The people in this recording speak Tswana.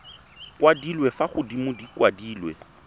kwadilwe fa godimo di kwadilwe